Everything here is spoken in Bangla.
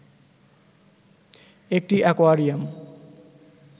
একটি অ্যাকোয়ারিয়াম